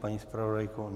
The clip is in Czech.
Paní zpravodajko?